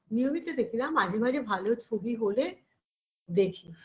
নিয়মিত দেখি না মাঝে মাঝে ভালো ছবি হলে দেখি